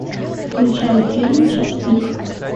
включай фильм час пик